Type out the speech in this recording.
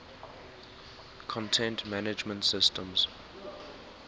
content management systems